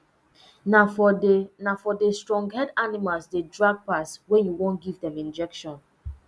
na for de na for de stronghead animals dey drag pass when you wan give dem injection